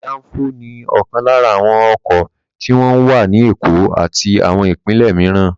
Dáńfó ni ọ̀kan lára àwọn ọkọ̀ tí wọ́n ń wà ní Èkó àti àwọn ìpínlẹ̀ mìíràn.